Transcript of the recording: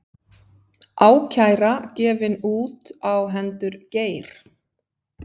Ákæra gefin út á hendur Geir